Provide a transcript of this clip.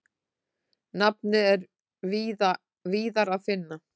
Nafnið er víðar að finna.